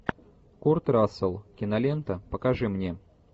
курт рассел кинолента покажи мне